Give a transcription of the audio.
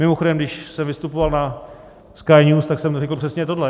Mimochodem, když jsem vystupoval na Sky News, tak jsem řekl přesně tohle.